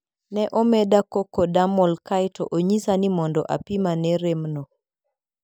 Ne omeda co-codamol kae to onyisa ni mondo apim ane remno.